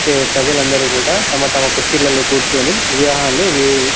చే ప్రజలందరూ కూడా తమ తమ కుర్చీలల్లో కూర్చొని --